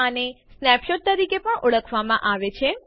આને સ્નેપશોટ તરીકે પણ ઓળખવામાં આવે છે